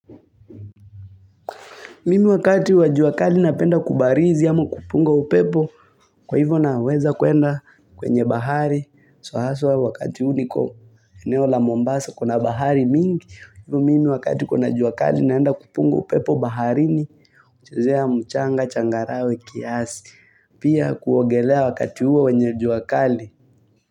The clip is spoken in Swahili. Mimi wakati wa jua kali napenda kubarizi ama kupunga upepo kwa hivyo naweza kuenda kwenye bahari. Sohaswa wakati huu niko eneo la Mombasa kuna bahari mingi. Mimi wakati kuna juakali naenda kupunga upepo baharini kuchezea mchanga changarawe kiasi. Pia kuogelea wakati huo wenye juakali.